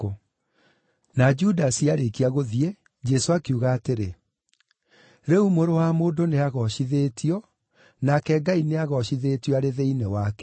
Na Judasi aarĩkia gũthiĩ, Jesũ akiuga atĩrĩ, “Rĩu Mũrũ wa Mũndũ nĩagoocithĩtio, nake Ngai nĩagoocithĩtio arĩ thĩinĩ wake.